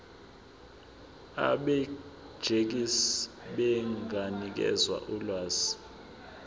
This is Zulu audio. abegcis benganikeza ulwazi